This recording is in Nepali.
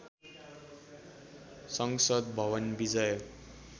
संसद भवन विजय